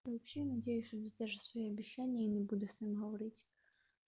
а вообще надеюсь что даже свои обещания я не буду с ним говорить